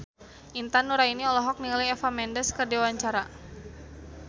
Intan Nuraini olohok ningali Eva Mendes keur diwawancara